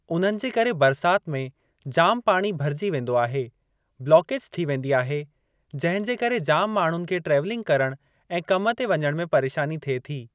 उन्हनि जे करे बरसाति में जाम पाणी भरिजी वेंदो आहे। ब्लोकेज़ थी वेंदी आहे जंहिं जे करे जाम माण्हुनि खे ट्रेवलिंग करणु ऐं कम ते वञणु में परेशानी थिए थी।